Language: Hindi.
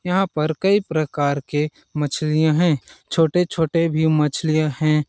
यहाँ पर कई प्रकार के मछलियाँ है छोटे -छोटे भी मछलियाँ है। .